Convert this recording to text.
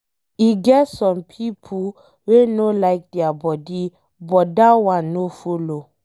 E get some pipo wey no like dia body but that one no follow.